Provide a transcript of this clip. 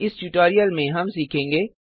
इस ट्यूटोरियल में हम सीखेंगे